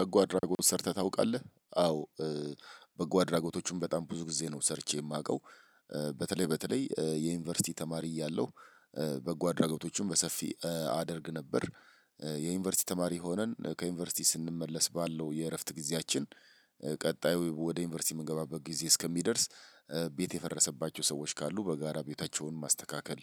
በጎ አድራጎት ሰርተህ ታውቃለህ? አዎ በጎ አድራጎቶችን በጣም ብዙ ጊዜ ነው ሰርቼ የማውቀው። በተለይ በተለይ የዩኒቨርሲቲ ተማሪ እያለሁ በጎ አድራጎቶችን በሰፊ አደርግ ነበር። የዩኒቨርሲቲ ተማሪ ሆነን ከዩኒቨርሲቲ ስንመለስ ባለው የእረፍት ጊዜያችን ቀጣዩ ወደ ዩኒቨርሲቲ የምንገባበት ጊዜ እስከሚደርስ ቤት የፈረሰባቸው ሰዎች ካሉ በጋራ ቤታቸውን ማስተካከል።